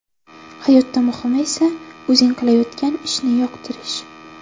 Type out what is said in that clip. Hayotda muhimi esa o‘zing qilayotgan ishni yoqtirish.